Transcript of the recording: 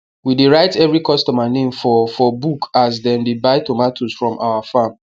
we dey write every customer name for for book as dem dey buy tomatoes from our farm